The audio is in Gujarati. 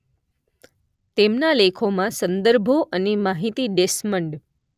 તેમના લેખોમાં સંદર્ભો અને માહિતી ડેસ્મન્ડ